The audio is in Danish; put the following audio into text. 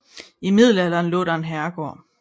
I Middelalderen lå der en hovedgård